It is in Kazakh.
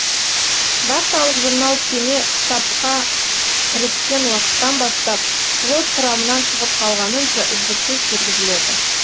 вахталық журнал кеме сапка кіріскен уакыттан бастап флот құрамынан шығып калғанынша үздіксіз жүргізіледі